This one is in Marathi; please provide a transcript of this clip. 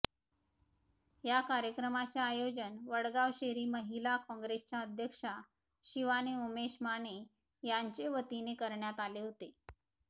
या कार्यक्रमाचे आयोजन वडगांवशेरी महिला काँग्रेसच्या अध्यक्षा शिवानी उमेश माने यांचे वतीने करण्यात आले होते